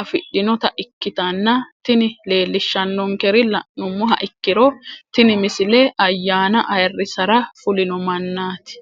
afidhinota ikkitanna tini leellishshannonkeri la'nummoha ikkiro tini misile ayyaana ayiirrisara fulino mannaati.